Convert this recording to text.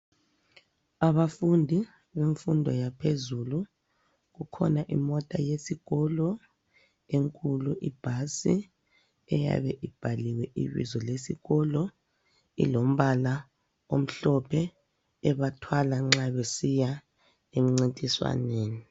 Abafundi bemfundo yaphezulu, kukhona imota yesikolo enkulu ibhasi eyabe ibhaliwe ibizo lesikolo. Ilombala omhlophe, ebathwala nxa besiya emncintiswaneni.